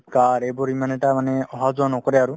car ইমান আহা যোৱা নকৰে আৰু